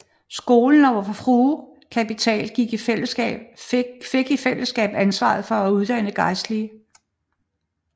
Skolen og Vor Frues Kapitel fik i fællesskab ansvaret for at uddanne gejstlige